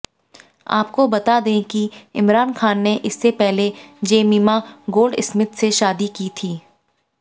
आपको बता दें कि इमरान खान ने इसके पहले जेमिमा गोल्डस्मिथ से शादी की थी